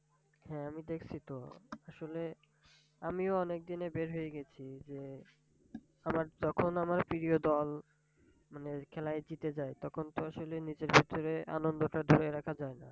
হ্যাঁ আমি দেখছি তো আসলে আমিও অনেক দিনে বের হয়ে গেছি যে আমার তখন আমার প্রিয় দল মানে খেলায় জিতে যায় তখন তো আসলে নিজের ভেতরে আনন্দটা ধরে রাখা যায় না।